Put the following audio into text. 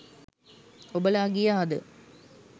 ඔබලා ගියාද?